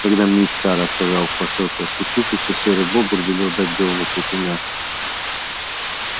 когда мит са рассказал в посёлке о случившемся серый бобр велел дать белому клыку мяса